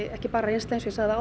ekki bara reynsla